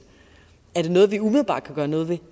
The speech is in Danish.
er det noget vi umiddelbart kan gøre noget ved